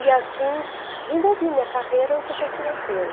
E assim desenvolvi minha carreira no setor financeiro.